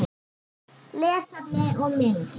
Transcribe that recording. Lesefni og mynd